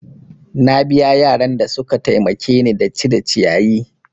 Na biya yaran da suka taimake ni da cire ciyayi.